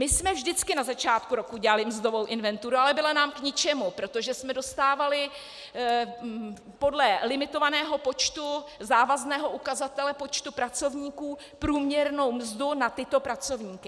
My jsme vždycky na začátku roku dělali mzdovou inventuru, ale byla nám k ničemu, protože jsme dostávali podle limitovaného počtu, závazného ukazatele počtu pracovníků průměrnou mzdu na tyto pracovníky.